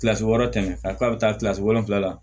Kilasi wɔɔrɔ tɛmɛ ka k'a bɛ taa kilasi wolonwula la